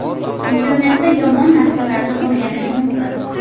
Internetda yomon narsalarni o‘rganish mumkin.